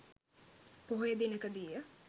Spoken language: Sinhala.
පොහොය දිනකදී ය.